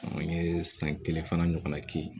An ye san kelen fana ɲɔgɔnna kɛ yen